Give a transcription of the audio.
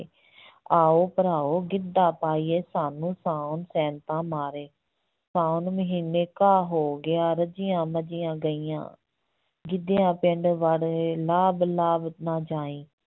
ਆਓ ਭਰਾਓ ਗਿੱਧਾ ਪਾਈਏ, ਸਾਨੂੰ ਸਾਉਣ ਸੈਂਤਾਂ ਮਾਰੇ, ਸਾਉਣ ਮਹੀਨੇ ਘਾਹ ਹੋ ਗਿਆ, ਰੱਜੀਆਂ ਮੱਝੀਆਂ ਗਈਆਂ, ਗਿੱਧਿਆ ਪਿੰਡ ਵੜ੍ਹ ਵੇ, ਲਾਭ ਲਾਭ ਨਾ ਜਾਈਂ।